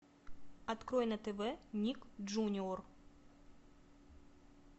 открой на тв ник джуниор